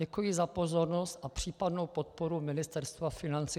Děkuji za pozornost a případnou podporu Ministerstva financí.